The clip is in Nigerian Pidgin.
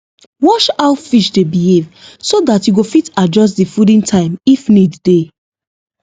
watch how fish dey behave so that you go fit adjust the fooding time if need dey